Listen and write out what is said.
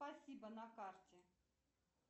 спасибо на карте